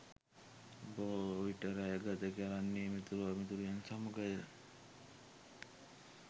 බොහෝ විට රැය ගත කරන්නේ මිතුරු මිතුරියන් සමඟය.